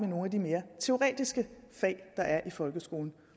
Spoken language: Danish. nogle af de mere teoretiske fag der er i folkeskolen